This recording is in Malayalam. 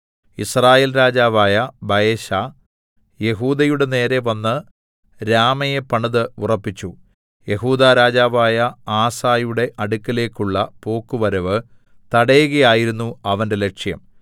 യിസ്രായേൽ രാജാവായ ബയെശാ യെഹൂദയുടെനേരെ വന്ന് രാമയെ പണിത് ഉറപ്പിച്ചു യെഹൂദാ രാജാവായ ആസയുടെ അടുക്കലേക്കുള്ള പോക്കുവരവ് തടയുകയായിരുന്നു അവന്റെ ലക്ഷ്യം